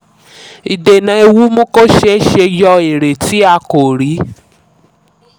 ìdènà ewu mú kó ṣee ṣe yọ èrè tí a kò rí.